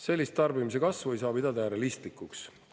Sellist tarbimise kasvu ei saa pidada realistlikuks.